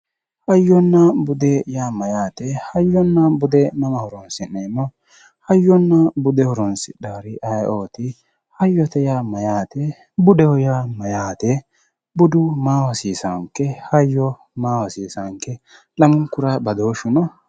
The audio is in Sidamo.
Hayyonna bude yaa mayyaate hayyonna bude hiikko afi'neemmo hayyonna bude horonsidhaari aye"ooti hayyote yaa mayyaate budeho yaa mayyaate budu maaho hasiisaanke hayyo maaho hasiissaanke lamunkura badooshshu no